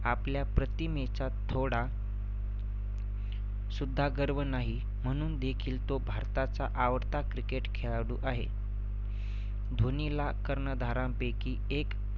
आपल्या प्रतिमेचा थोडा सुद्धा गर्व नाही म्हणून देखील तो भारताचा आवडता cricket खेळाडू आहे. धोनीला कर्णधारांपैकी एक